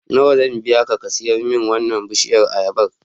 Nawa zan biya ka ka sare min wannan bishiyar ayabar?